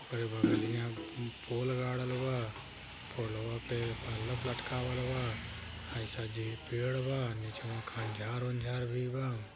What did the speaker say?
कर बगलिया पोल गाड़ल बा पोलवा पे बल्फ लटकावल बा आइसा जे पेड़ बा निचवा खंझार वांझर भी बा।